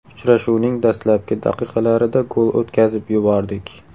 Uchrashuvning dastlabki daqiqalarida gol o‘tkazib yubordik.